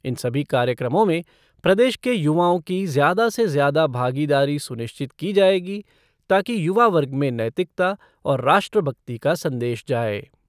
इन सभी कार्यक्रमों में प्रदेश के युवाओं की ज्यादा से ज्यादा भागीदारी सुनिश्चित की जाएगी ताकि युवा वर्ग में नैतिकता और राष्ट्र भक्ति का संदेश जाए।